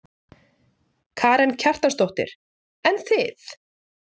Karen Kjartansdóttir: En þið?